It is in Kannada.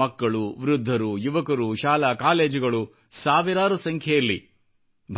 ಮಕ್ಕಳು ವೃದ್ಧರು ಯುವಕರು ಶಾಲಾ ಕಾಲೇಜುಗಳು ಸಾವಿರಾರು ಸಂಖ್ಯೆಯಲ್ಲಿ